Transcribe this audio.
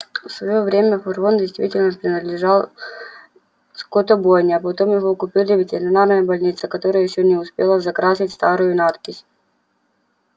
в своё время фургон действительно принадлежал скотобойне а потом его купила ветеринарная больница которая ещё не успела закрасить старую надпись